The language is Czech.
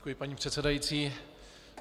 Děkuji, paní předsedající.